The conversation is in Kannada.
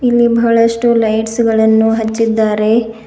ಇಲ್ಲಿ ಬಹಳಷ್ಟು ಲೈಟ್ಸ್ ಗಳನ್ನು ಹಚ್ಚಿದ್ದಾರೆ.